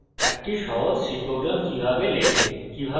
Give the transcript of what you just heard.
একটি সহজ c program কিভাবে লেখে